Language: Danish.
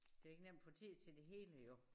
Det ikke nemt at få tid til det hele jo